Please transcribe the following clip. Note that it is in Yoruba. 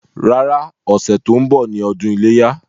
Rárá, ọ̀sẹ̀ tó ń bọ̀ ni ọdún iléyá.